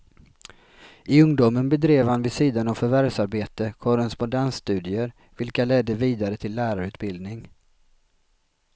I ungdomen bedrev han vid sidan av förvärvsarbete korrespondensstudier vilka ledde vidare till lärarutbildning.